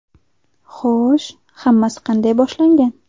Xo‘sh, hammasi qanday boshlangan?